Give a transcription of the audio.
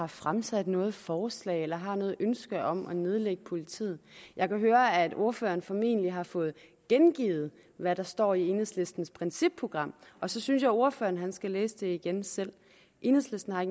har fremsat noget forslag eller har noget ønske om at nedlægge politiet jeg kan høre at ordføreren formentlig har fået gengivet hvad der står i enhedslistens principprogram og så synes jeg ordføreren skal læse det igen selv enhedslisten har